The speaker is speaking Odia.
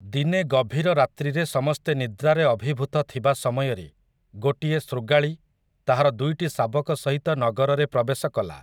ଦିନେ ଗଭୀର ରାତ୍ରିରେ ସମସ୍ତେ ନିଦ୍ରାରେ ଅଭିଭୂତ ଥିବା ସମୟରେ ଗୋଟିଏ ଶୃଗାଳୀ ତାହାର ଦୁଇଟି ଶାବକ ସହିତ ନଗରରେ ପ୍ରବେଶ କଲା ।